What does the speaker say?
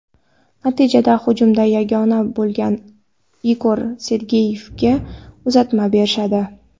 Natijada hujumda yagona bo‘lgan Igor Sergeyevga uzatma berishadi.